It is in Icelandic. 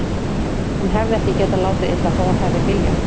Hún hefði ekki getað látið illa, þó að hún hefði viljað.